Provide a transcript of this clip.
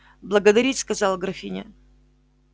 благодарить сказала графиня